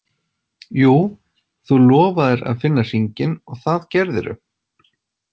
Jú, þú lofaðir að finna hringinn og það gerðirðu.